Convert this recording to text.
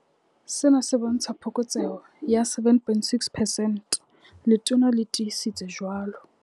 Sena se bontsha phokotseho ya 7.6 percent, Letona le tiisitse jwalo.